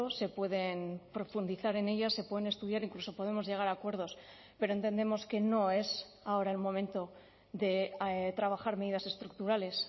se pueden profundizar en ellas se pueden estudiar incluso podemos llegar a acuerdos pero entendemos que no es ahora el momento de trabajar medidas estructurales